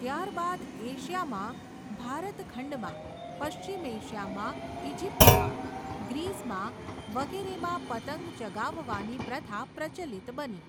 ત્યારબાદ એશિયામાં, ભારતખંડમાં, પશ્ચિમ એશિયામાં, ઈજિપ્તમાં, ગ્રીસમાં વગેરેમાં પતંગ ચગાવવાની પ્રથા પ્રચલિત બની.